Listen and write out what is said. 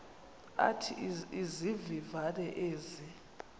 athi izivivane ezi